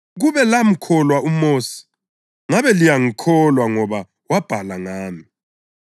Kube lamkholwa uMosi, ngabe liyangikholwa ngoba wabhala ngami.